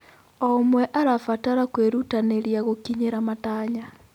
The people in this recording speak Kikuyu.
O ũmwe arabatara kwĩrutanĩria gũkinyĩra matanya.